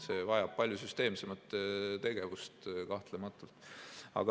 See vajab kahtlematult palju süsteemsemat tegevust.